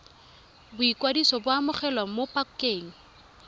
boikwadiso bo amogelwa mo pakeng